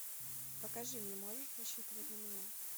покажи мне можешь рассчитывать на меня